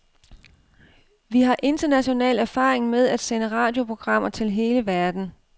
Vi har international erfaring med at sende radioprogrammer til hele verden.